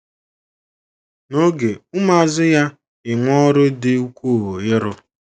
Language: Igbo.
N’oge, ụmụazụ ya - enwe ọrụ dị ukwuu ịrụ.